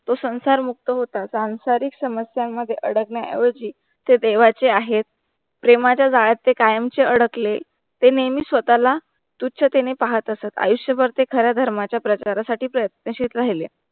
तो संसार मुक्त होता, सांसारिक समस्या मध्ये अडकण्या ऐवजी ते देवाचे आहेत. प्रेमाच्या जाळ्यात ते कायमचे अडकले. ते नेहमी स्वतःला तुच्छतेने पाहत असत आयुष्यभर ते खऱ्या धर्माच्या प्रचार साठी प्रयत्नशिल राहिले.